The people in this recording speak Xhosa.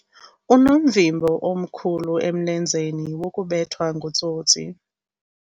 Unomvimbo omkhulu emlenzeni wokubethwa ngutsotsi.